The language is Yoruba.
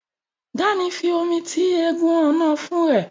Dan fí omí tí egún Ọ̀nà-ọ̀fun rẹ.